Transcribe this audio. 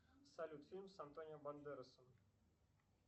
салют фильм с антонио бандеросом